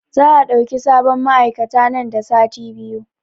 Za a ɗauki sabon ma'aikata nan da sati biyu